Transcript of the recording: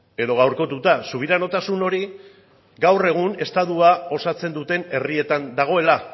edo gaurkotuta subiranotasun hori gaur egun estatua osatzen duten herrietan dagoela